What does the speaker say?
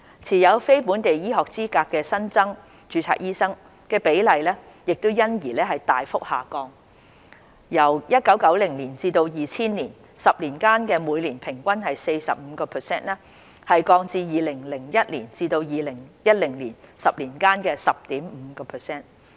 持有非本地醫學資格的新增註冊醫生所佔比例因而大幅下降，由1991年至2000年10年間的每年平均 45% 降至2001年至2010年10年間的 10.5%。